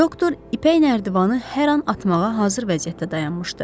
Doktor ipək nərdivanı hər an atmağa hazır vəziyyətdə dayanmışdı.